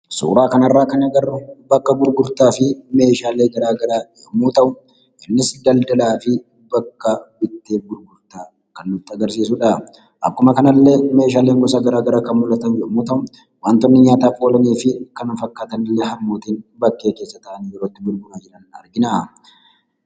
Suuraa kana irraa agarru bakka gurgurtaa fi meeshaalee garaagaraa yommuu ta'u, innis daldalaa fi bakka bitteef gurgurtaa kan nutti agarsiisu dha. Akkuma kanallee, meeshaaleen gosa garaagaraa kan mul'atan yommuu ta'u, wantoonni nyaataaf oolanii fi kana fakkaatan illee harmootiin bakkee keessa taa'anii yeroo itti gurguraa jiran argina.